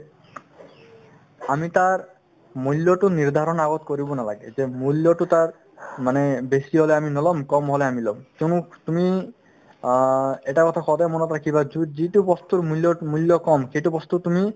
আমি তাৰ মূল্যতো নিৰ্ধাৰণ আগত কৰিব নালাগে এতিয়া মূল্যতো তাৰ মানে বেছি হ'লে আমি নলম কম হ'লে আমি লম কিয়নো তুমি অ এটা কথা সদায় মনত ৰাখিবা যো~ যিটো বস্তুৰ মূল্য~ মূল্য কম সেইটো বস্তু তুমি